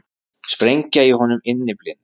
Sprengja í honum innyflin.